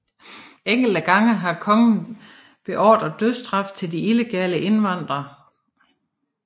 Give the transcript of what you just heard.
Enkelte gange har kongen beordret dødsstraf til de illegale indvandrere